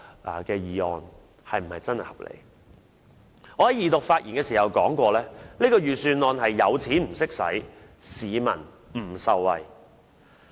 我在二讀發言時曾經指出，今年的預算案是有錢不懂花，市民不受惠。